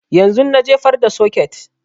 Yanzun na jefar da soket